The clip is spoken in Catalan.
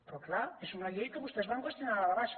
però clar és una llei que vostès van qüestionar de dalt a baix